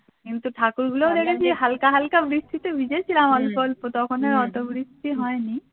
কিন্তু ঠাকুর গুলোও দেখেছি হালকা হালকা বৃষ্টিতে ভিজেছিলাম অল্প অল্প তখন আর অত বৃষ্টি হয়নি